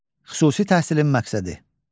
Xüsusi təhsilin məqsədi.